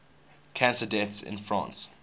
cancer deaths in france